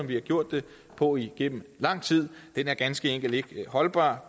vi har gjort det på igennem lang tid er ganske enkelt ikke holdbar